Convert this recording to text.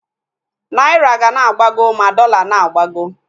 Naira ga na-agbago ma dọla na-agbago